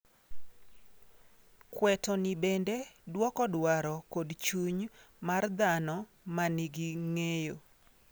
Kweto ni bende dwoko dwaro kod chuny mar dhano ma nigi ng'eyo.